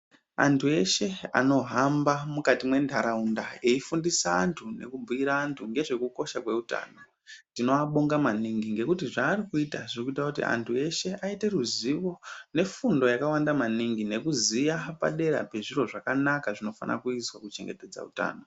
Antu eshe ano hamba mukati me ndaraunda eyi fundisa antu neku bhuira antu nezve kukosha kwe utano tino abonga maningi ngekuti zva ari kuita zviri kuita kuti antu eshe aite ruzivo ne fundo yakawanda maningi nekuziya padera pezviro zvakanaka zvinofana kuizwa ku chengetedza utano.